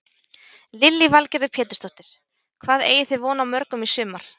Lillý Valgerður Pétursdóttir: Hvað eigið þið von á mörgum í sumar?